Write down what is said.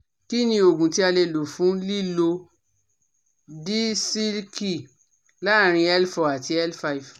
Kí ni oògùn tí a lè lò fún lílọ́ disiki láàárín L four àti L five?